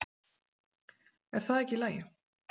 Er það ekki í lagi?